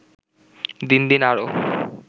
দিন দিন আরও